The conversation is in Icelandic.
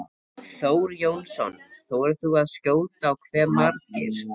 Þór Jónsson: Þorir þú að skjóta á hve margir?